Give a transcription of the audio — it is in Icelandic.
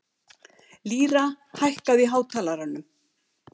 Lýra, hækkaðu í hátalaranum.